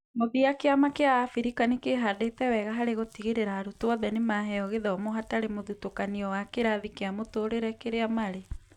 Mũthia, kiama kĩa Africa nĩkĩhndĩte wega harĩ gũtigĩrĩra arutwo othe nĩmaheo gĩthomo hatarĩ mũthutũkanio wa kĩrathi kĩa mũtũrĩre kĩrĩa marĩ